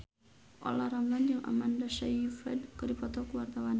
Olla Ramlan jeung Amanda Sayfried keur dipoto ku wartawan